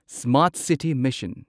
smart city mission